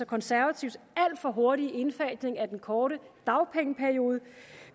konservatives alt for hurtige indfasning af den korte dagpengeperiode